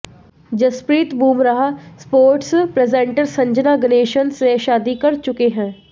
Jasprit Bumrah sports presenter Sanjana Ganesan से शादी कर चुके हैं